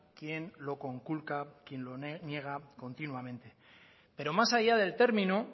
quien lo conculca quien lo niega continuamente pero más allá del término